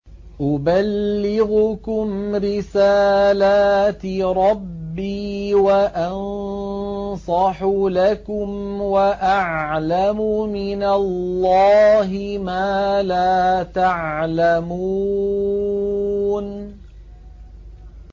أُبَلِّغُكُمْ رِسَالَاتِ رَبِّي وَأَنصَحُ لَكُمْ وَأَعْلَمُ مِنَ اللَّهِ مَا لَا تَعْلَمُونَ